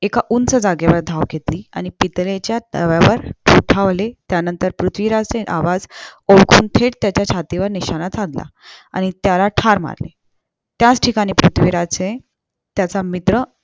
एक उंच ठिकाणी धाव घेतली आणि पितळेच्या तव्यावर त्या नंतर पृथ्वीराजचे आवाज ओळखून थेट त्याच्या छातीवर निशाणा साधला आणि त्याला ठार मारले त्याच ठिकाणी परृथ्वीराज चे त्याचा मित्र